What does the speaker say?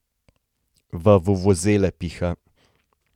V vuvuzele piha.